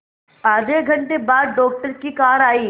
आधे घंटे बाद डॉक्टर की कार आई